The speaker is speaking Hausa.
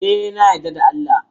E, na yarda da Allah.